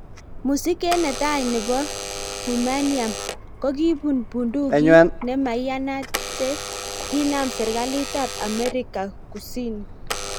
Musiket netai nebo Humanium kokibuun bundukik ne maiyanat che kinam serikalit ab America Kusini.